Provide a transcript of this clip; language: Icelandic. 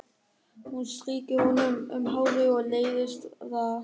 Hún strýkur honum um hárið en leiðist það.